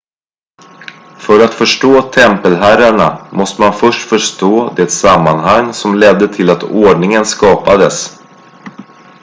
för att förstå tempelherrarna måste man förstå det sammanhang som ledde till att ordningen skapades